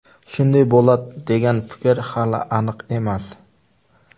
Shunday bo‘ladi degan fikr hali aniq emas.